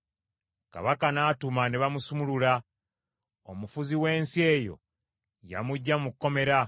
Kabaka n’atuma ne bamusumulula; omufuzi w’ensi eyo yamuggya mu kkomera.